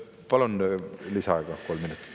Palun lisaaega kolm minutit.